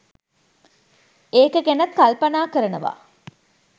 ඒක ගැනත් කල්පනා කරනවා